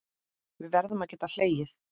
Við verðum að geta hlegið.